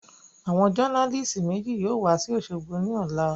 Àwọn jọ́nálìsì méjì yóò wa sí òṣogbo ní ọ̀la